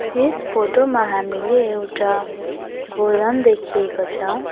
यस photo मा हामीले एउटा गोदाम देखिएको छ।